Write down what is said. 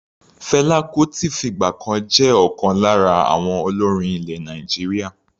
Fela Kuti fìgbà kan jẹ́ ọ̀kan lára àwọn olórin ilẹ̀ Nàìjíríà.